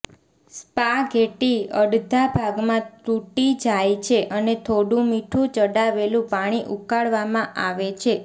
spaghetti અડધા ભાગમાં તૂટી જાય છે અને થોડું મીઠું ચડાવેલું પાણી ઉકાળવામાં આવે છે